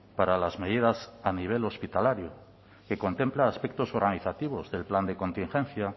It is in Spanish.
para las medidas a nivel hospitalario que contempla aspectos organizativos del plan de contingencia